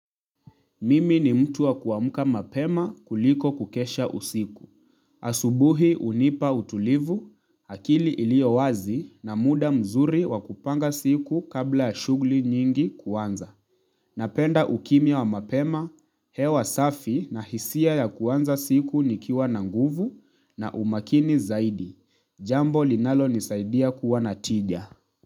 Mimi ni mtu wa kuamka mapema kuliko kukesha usiku. Asubuhi hunipa utulivu, akili iliyo wazi na muda mzuri wa kupanga siku kabla shughuli nyingi kuanza. Napenda ukimya wa mapema, hewa safi na hisia ya kuanza siku nikiwa na nguvu na umakini zaidi. Jambo linalonisaidia kuwa na tija.